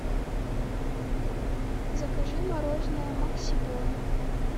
закажи мороженое макси бон